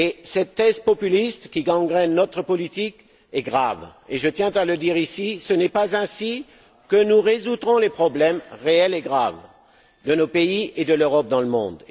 Cette thèse populiste, qui gangrène notre politique, est grave et je tiens à le dire ici, ce n'est pas ainsi que nous résoudrons les problèmes réels et graves de nos pays et de l'Europe dans le monde.